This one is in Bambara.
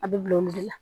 A bɛ bila o de la